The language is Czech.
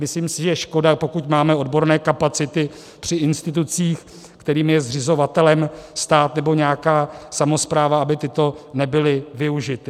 Myslím si, že je škoda, pokud máme odborné kapacity při institucích, jejichž je zřizovatelem stát nebo nějaká samospráva, aby tyto nebyly využity.